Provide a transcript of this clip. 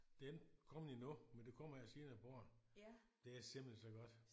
Det er ikke kommet endnu men det kommer her senere på året det er simpelthen så godt